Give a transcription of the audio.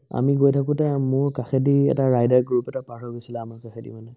আমি গৈ থাকোতে আ মোৰ কাষেদি এটা rider গৈ পতককে পাৰ হৈ গৈছিলে আমাৰ কাষেদি মানে